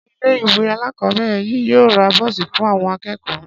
Ṣé ilé ìwé alákọ̀ọ́bẹ̀rẹ̀ yìí yóò ra bọ́ọ̀sì fún àwọn akẹ́kọ̀ọ́?